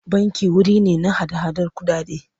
Banki wuri ne na hada-hadar kuɗaɗe.